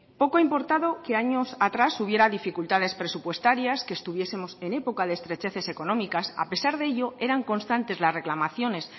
poco ha importado que años atrás hubiera dificultades presupuestarias que estuviesemos en época de estrecheces económicas a pesar de ello eran constantes la reclamaciones